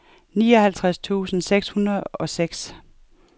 nioghalvtreds tusind seks hundrede og seks